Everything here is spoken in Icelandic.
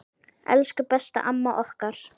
Elsku besta amma okkar.